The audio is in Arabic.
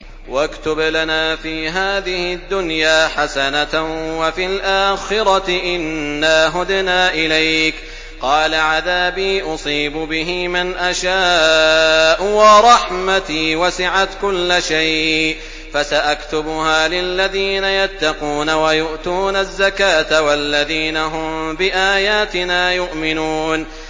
۞ وَاكْتُبْ لَنَا فِي هَٰذِهِ الدُّنْيَا حَسَنَةً وَفِي الْآخِرَةِ إِنَّا هُدْنَا إِلَيْكَ ۚ قَالَ عَذَابِي أُصِيبُ بِهِ مَنْ أَشَاءُ ۖ وَرَحْمَتِي وَسِعَتْ كُلَّ شَيْءٍ ۚ فَسَأَكْتُبُهَا لِلَّذِينَ يَتَّقُونَ وَيُؤْتُونَ الزَّكَاةَ وَالَّذِينَ هُم بِآيَاتِنَا يُؤْمِنُونَ